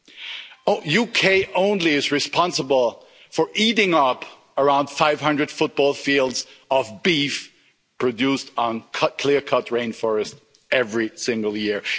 The UK alone is responsible for eating up around 500 football fields of beef produced in clear cut rain forests every single year.